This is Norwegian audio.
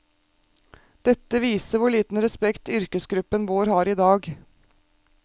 Dette viser hvor liten respekt yrkesgruppen vår har i dag.